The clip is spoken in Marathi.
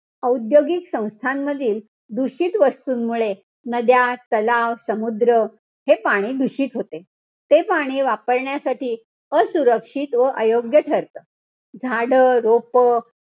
औद्योगिक संस्थांमधील दूषित वस्तूंमुळे नद्या, तलाव, समुद्र हे पाणी दूषित होते. ते पाणी वापरण्यासाठी असुरक्षित व अयोग्य ठरतं. झाडं, रोपं,